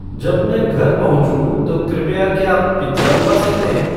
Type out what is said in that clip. जब मैं घर पहुँचूँ तो कृपया क्या आप पिज़्ज़ा मँगवा सकते हैं